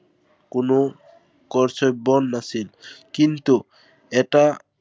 কোনো কৰচব্য় নাছিল। কিন্তু, এটা